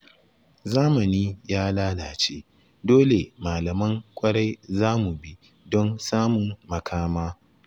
Zamani ya lalace, dole malaman ƙwarai za mu bi don samun makama